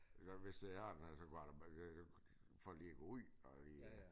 Det kan godt være hvis jeg har den her så kunne jeg da bare for lige at gå ud og lige